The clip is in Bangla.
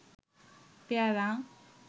পেয়ারা